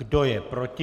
Kdo je proti?